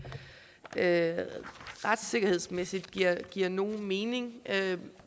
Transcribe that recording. det retssikkerhedsmæssigt giver giver nogen mening